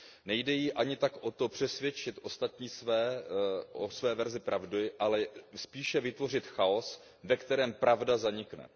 Nejde jí ani tak o to přesvědčit ostatní o své verzi pravdy, ale spíše vytvořit chaos, ve kterém pravda zanikne.